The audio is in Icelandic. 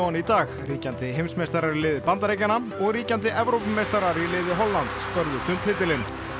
í dag ríkjandi heimsmeistarar í liði Bandaríkjanna og ríkjandi Evrópumeistarar í liði Hollands börðust um titilinn